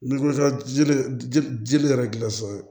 yɛrɛ gila so ye